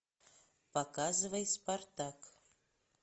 показывай спартак